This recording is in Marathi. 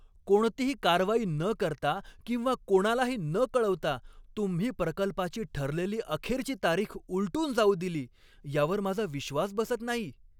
कोणतीही कारवाई न करता किंवा कोणालाही न कळवता तुम्ही प्रकल्पाची ठरलेली अखेरची तारीख उलटून जाऊ दिली यावर माझा विश्वास बसत नाही.